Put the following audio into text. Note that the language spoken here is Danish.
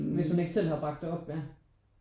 Hvis hun ikke selv har bragt det op vel